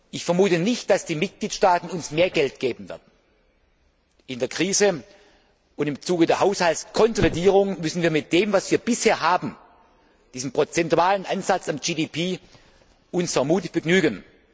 Ich vermute nicht, dass die Mitgliedstaaten uns mehr Geld geben werden. In der Krise und im Zuge der Haushaltskonsolidierung müssen wir uns vermutlich mit dem, was wir bisher haben, diesem prozentualen Ansatz am BIP, begnügen.